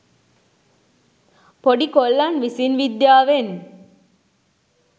පොඩි කොල්ලන් විසින් විද්‍යාවෙන්